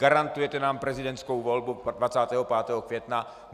Garantujete nám prezidentskou volbu 25. května?